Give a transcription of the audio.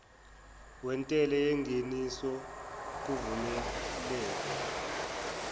wentela yengeniso kuvumeleke